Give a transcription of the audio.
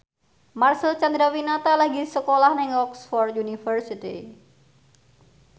Marcel Chandrawinata lagi sekolah nang Oxford university